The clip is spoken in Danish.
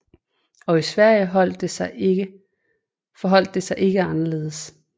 Og i Sverige forholdt det sig ikke anderledes